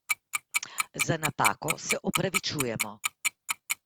Za napako se opravičujemo.